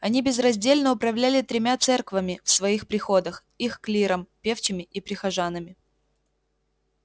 они безраздельно управляли тремя церквами в своих приходах их клиром певчими и прихожанами